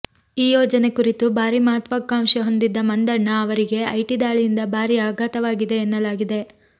ಈ ಯೋಜನೆ ಕುರಿತು ಭಾರೀ ಮಹತ್ವಾಕಾಂಕ್ಷೆ ಹೊಂದಿದ್ದ ಮಂದಣ್ಣ ಅವರಿಗೆ ಐಟಿ ದಾಳಿಯಿಂದ ಭಾರೀ ಆಘಾತವಾಗಿದೆ ಎನ್ನಲಾಗಿದೆ